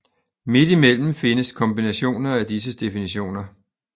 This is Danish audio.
Midt imellem findes kombinationer af disse definitioner